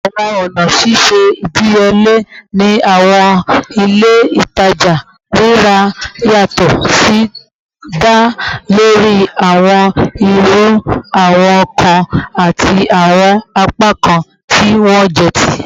Awọn ọna ṣiṣe idiyele ni awọn ile-itaja rira yatọ si da lori awọn iru awọn nkan ati awọn apakan ti wọn jẹ ti